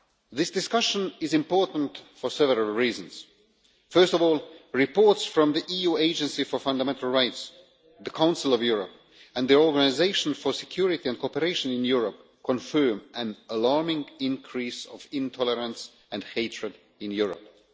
This discussion is important for several reasons. First of all, reports from the EU Agency for Fundamental Rights, the Council of Europe and the Organisation for Security and Cooperation in Europe confirm an alarming increase of intolerance and hatred in Europe.